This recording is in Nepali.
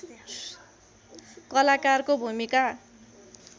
कलाकारको भूमिका